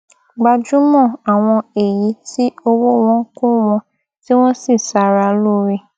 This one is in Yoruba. gbájúmọ àwọn èyí tí owó wọn kò wọn tí wọn sì ṣàrà lóore